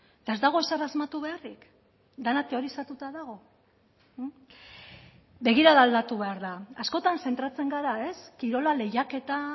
eta ez dago ezer asmatu beharrik dena teorizatuta dago begirada aldatu behar da askotan zentratzen gara ez kirola lehiaketa